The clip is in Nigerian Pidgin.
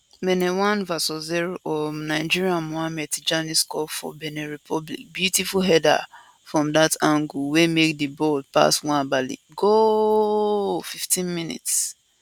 benin 1 vs 0 um nigeria mohammed tijani score for benin republic beautiful header from dat angle wey make di ball pass nwabali gooooooooaaaaaaaaaaaaaaaaaallll 15mins